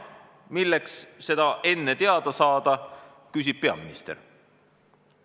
Milleks seda enne teada saada?" küsib peaminister.